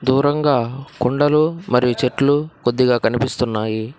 దూరంగా కొండలు మరియు చెట్లు కొద్దిగా కనిపిస్తున్నాయి.